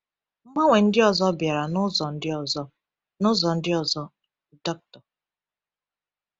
Mgbanwe ndị ọzọ bịara n’ụzọ ndị ọzọ. n’ụzọ ndị ọzọ. Dr.